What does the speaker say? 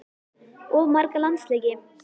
Of marga landsleiki?